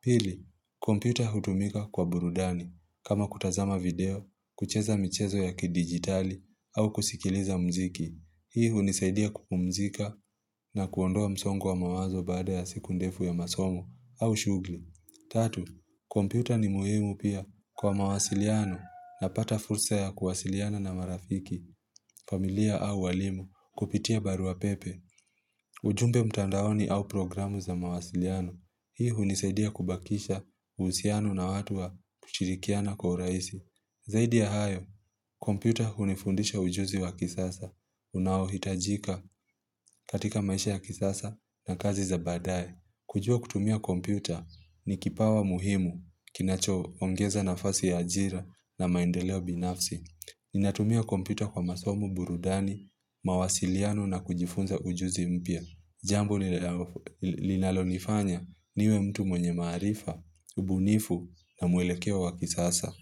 Pili, kompyuta hutumika kwa burudani. Kama kutazama video, kucheza michezo ya kidigitali au kusikiliza muziki. Hii hunisaidia kupumzika na kuondoa msongo wa mawazo baada ya siku ndefu ya masomo au shughuli. Tatu, kompyuta ni muhimu pia kwa mawasiliano. Napata fursa ya kuwasiliana na marafiki, familia au walimu kupitia baruapepe, ujumbe mtandaoni au programu za mawasiliano. Hii hunisaidia kubakisha uhusiano na watu wa kushirikiana kwa urahisi. Zaidi ya hayo, kompyuta hunifundisha ujuzi wa kisasa. Unaohitajika katika maisha ya kisasa na kazi za baadaye. Kujua kutumia kompyuta ni kipawa muhimu kinachoongeza nafasi ya ajira na maendeleo binafsi. Ninatumia kompyuta kwa masomo, burudani, mawasiliano na kujifunza ujuzi mpya. Jambo linalonifanya niwe mtu mwenye maarifa, ubunifu na mwelekeo wa kisasa.